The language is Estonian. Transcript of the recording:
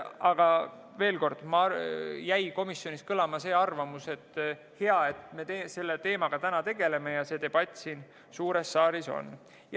Aga veel kord: komisjonis jäi kõlama see arvamus, et hea, et me selle teemaga tegeleme ja see debatt siin suures saalis on.